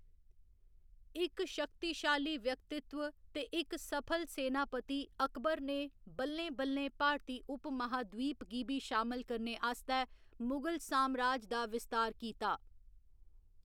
इक शक्तिशाली व्यक्तित्व ते इक सफल सेनापति अकबर ने बल्लें बल्लें भारती उपमहाद्वीप गी बी शामल करने आस्तै मुगल सामराज का विस्तार कीता।